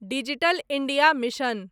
digital India mission